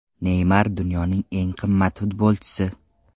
Neymar dunyoning eng qimmat futbolchisi.